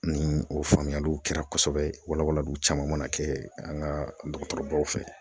Ni o faamuyaliw kɛra kosɛbɛ walawalaliw caman mana kɛ an ka dɔgɔtɔrɔbaw fɛ